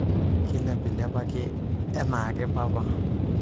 kailepilepaki ake enaake papa